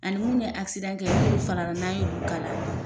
Ani munnu ye kɛ n'olu farala n'an y'olu kala.